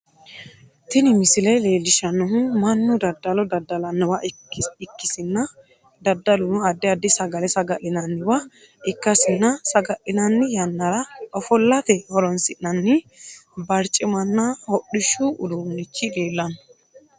Tini misile leelishanohu Manu dadalo dadalanowa ikasinna dadaluno addi addi sagale saga'linnanniwa ikasinna saga'linnann yanara ofollate horoonsi'nanni barciminna hodhishu uduunichi leellano.